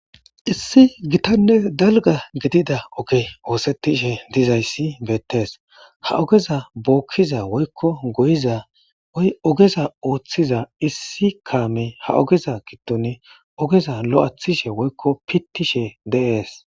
issi gitanne dalga gidida oge oosettishe dizayssi beettees ha ogeza bookkiza woykko goyiza woy ogeza ooththiza issi kaame ha ogeza gidone ogeza lo'ethishe woykko pittishe de'ees